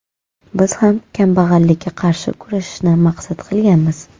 Biz ham kambag‘allikka qarshi kurashishni maqsad qilganmiz.